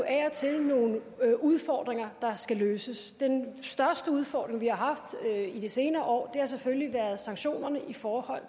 af og til nogle udfordringer der skal løses den største udfordring vi har haft de senere år har selvfølgelig været sanktionerne i forhold